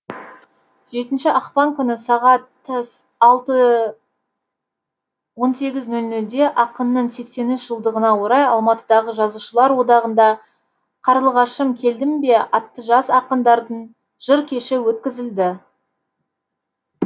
жетінші ақпан күні сағат алты он сегіз нөл нөлде ақынның сексен үш жылдығына орай алматыдағы жазушылар одағында қарлығашым келдің бе атты жас ақындардың жыр кеші өткізілді